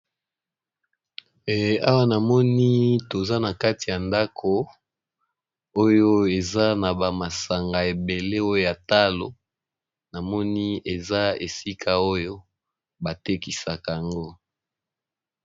Awa namoni toza na kati ya ndako oyo eza na ba masanga ebele oyo ya talo namoni eza esika oyo batekisaka yango.